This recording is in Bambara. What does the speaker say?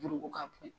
Juru ko ka bon